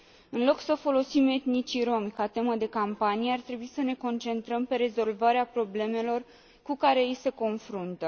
În loc să folosim etnicii romi ca temă de campanie, ar trebui să ne concentrăm pe rezolvarea problemelor cu care ei se confruntă.